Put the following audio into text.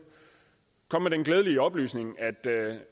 glædelige oplysning at